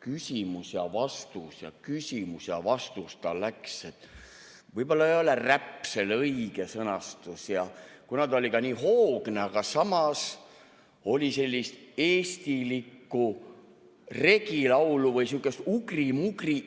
küsimus ja vastus, küsimus ja vastus – võib-olla ei ole räpp see õige sõna ja ta oli ka nii hoogne, aga samas oli sellist eestilikku regilaulu või sihukest ugri-mugrit.